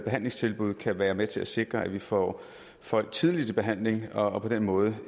behandlingstilbud kan være med til at sikre at vi får folk tidligt i behandling og og på den måde